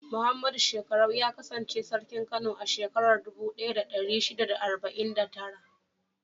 Muhammadu Shekkarau ya kasance Sarkin Kano a shekarar dubu ɗaya da ɗari shida da arba'in da tara.